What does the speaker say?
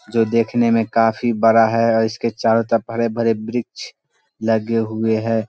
जो देखने में काफी बड़ा है अअ इसके चोरो तरफ हरे-भरे बृक्ष लगे हुए है।